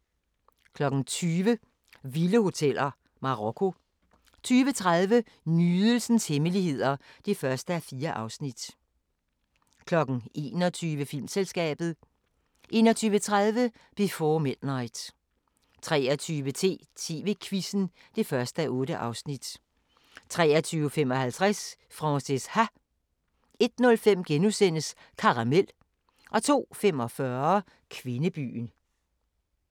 20:00: Vilde hoteller: Marokko 20:30: Nydelsens hemmeligheder (1:4) 21:00: Filmselskabet 21:30: Before Midnight 23:10: TV-Quizzen (1:8) 23:55: Frances Ha 01:15: Karamel * 02:45: Kvindebyen